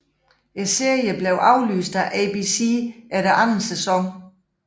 Serien blev aflyst af ABC efter anden sæson